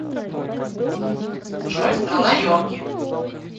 джой страна йорки